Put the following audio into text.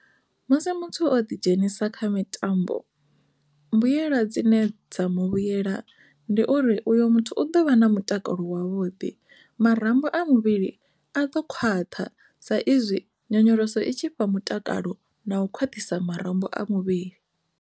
Musi muthu o ḓidzhenisa kha mitambo mbuyela dzine dza mu vhuyela ndi uri uyo muthu u ḓovha na mutakalo wavhuḓi marambo a muvhili a ḓo khwaṱha sa izwi nyonyoloso i tshi fha mutakalo na u khwaṱhisa marambo a muvhili.